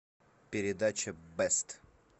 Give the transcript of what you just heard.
передача бест